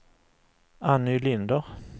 Anny Linder